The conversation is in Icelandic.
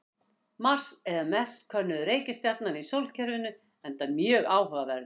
Mars er meðal mest könnuðu reikistjarna í sólkerfinu enda mjög áhugaverður.